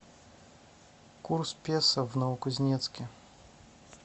курс песо в новокузнецке